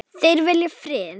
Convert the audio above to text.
Þeir vilja frið.